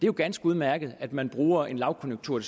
jo ganske udmærket at man bruger en lavkonjunktur